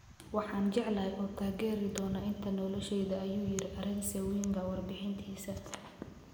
"Waxaan jecelahay oo taageeri doonaa inta nolosheyda," ayuu yiri Arsène Wenger warbixintiisa.